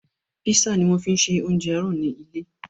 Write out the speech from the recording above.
Písà ni wọ́n fi ṣe oúnjẹ àárọ̀ ni ilé